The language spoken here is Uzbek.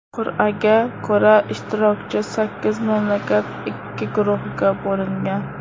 Qur’aga ko‘ra, ishtirokchi sakkiz mamlakat ikki guruhga bo‘lingan.